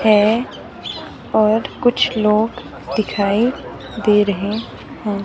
है और कुछ लोग दिखाई दे रहे हैं।